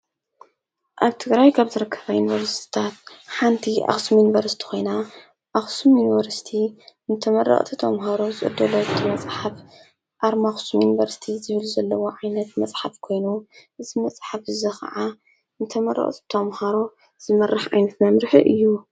ኣብ ትግራይ ካብ ዝርከባ ዩኒቨርሲቲታት ሓንቲ ኣኽሱም ዩንቨርስቲ ኾይና ኣኽሱም ዩንቨርስቲንተመረቕቲ ተምሃሮ ዝተዳለወ መጽሓፍ ኣርማ ኣኽሱም ዩንቨርስቲ ዝብል ዘለዎ ዓይነት መጽሓፍ ኮይኑ እዚ መጽሕፍ እዚ ኸዓ ንተመረቕቲ ተምሃሮ ዝመርሕ ዓይንት መምርሒ እዩ፡፡